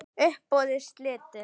Uppboði slitið.